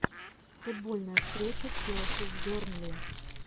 футбольная встреча челси с бернли